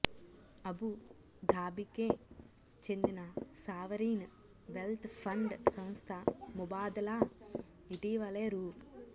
Abu ధాబికే చెందిన sovereign wealth fund సంస్థ ముబాదలా ఇటీవలే రూ